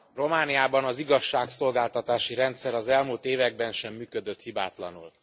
Elnök Úr, Romániában az igazságszolgáltatási rendszer az elmúlt években sem működött hibátlanul.